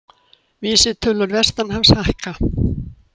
Vísitölur vestanhafs hækka